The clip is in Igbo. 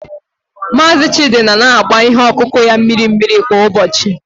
Mazị Chidi nọ na-agba ihe ọkụkụ ya mmiri mmiri kwa ụbọchị.